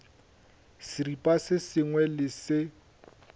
seripa se sengwe le se